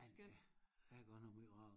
Ej der er godt nok møj ragelse